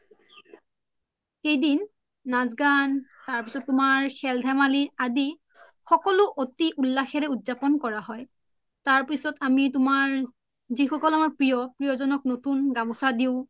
কেইদিন নাচ গান খেল ধেমালী আদি সকলো উলাশৰে উদ্জাপোন কৰা হয় তাৰপিছ্ত আমি তুমাৰ জি সকল আমাৰ প্ৰিয় প্ৰিয়জনক নতুন গমুচা দিও